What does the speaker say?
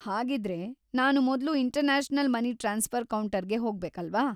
ಹಾಗಿದ್ರೆ, ನಾನು ಮೊದ್ಲು ಇಂಟರ್ನ್ಯಾಷನಲ್‌ ಮನಿ ಟ್ರಾನ್ಸ್‌ಫರ್‌ ಕೌಂಟರ್‌ಗೆ ಹೋಗ್ಬೇಕಲ್ವಾ?